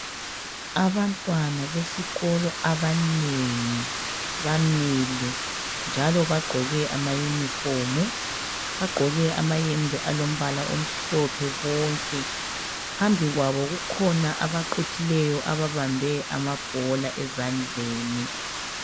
Abantwana besikolo abanengi bamile njalo bagqoke amayinifomu bagqoke amayembe alombala omhlophe bonke phambi kwabo kukhona abaqhuthileyo ababambe amabhola ezandleni.